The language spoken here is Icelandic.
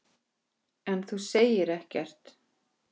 Svo rak hann upp hlátur.